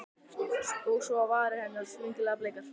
Og svo á varir hennar, skringilega bleikar.